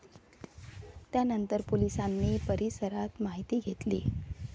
त्यानंतर पोलिसांनी परिसरात माहिती घेतली.